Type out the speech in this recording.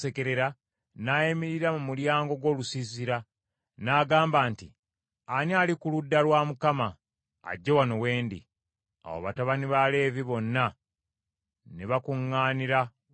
n’ayimirira mu mulyango gw’olusiisira, n’agamba nti, “Ani ali ku ludda lwa Mukama ? Ajje wano we ndi.” Awo batabani ba Leevi bonna ne bakuŋŋaanira w’ali.